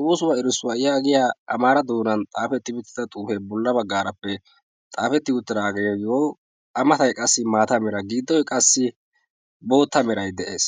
ooosuwaa irissuwaa yaayiya amaara doonan xaafetti buttida xuufee bolla baggaarappe xaafetti uuttiraageeyo yo a matay qassi maata mera giddoi qassi bootta merai de'ees